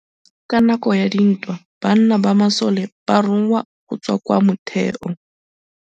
Ka nakô ya dintwa banna ba masole ba rongwa go tswa kwa mothêô.